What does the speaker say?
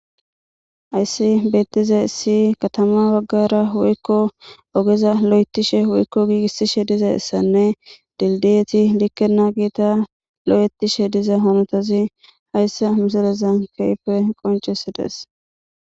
Hayssi beeththizayssi kathama baggara woykko ogeza loyththishe woykko giigissishe dizayssanne dilddiyethi likkennaageetha loyththishe diza hanothathi hayssa misilezan keehippe qonccissi des.